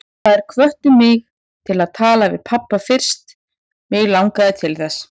Þær hvöttu mig til að tala við pabba fyrst mig langaði til þess.